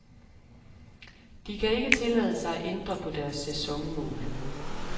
De kan ikke tillade sig at ændre på deres sæsonmål.